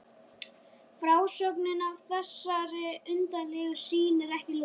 Frásögninni af þessari undarlegu sýn er ekki lokið.